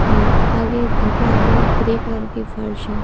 और आगे घर के आगे ग्रे कलर की फर्श है।